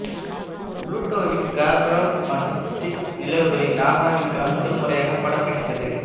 புளூட்டோவின் கெர்பரோஸ் மற்றும் ஸ்டிக்ஸ் நிலவுகளை நாசா விண்கலம் முதல் முறையாக படம் பிடித்தது